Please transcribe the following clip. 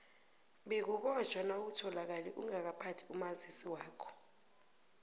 bewubotjhwa nawutholakale ungakaphathi umazisi wakho